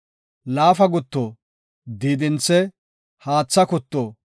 laafa gutto, diidinthe, haatha kutto,